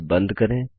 फिर बंद करें